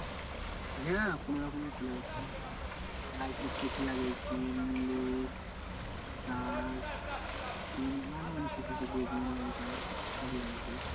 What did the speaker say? হ্যাঁ কোনোরকমের চলে যাচ্ছে। লাগিয়েছি, মুলো, শাক, সিম, আরো অনেককিছু সেই বেগুন, লঙ্কা, সবই লাগিয়েছি।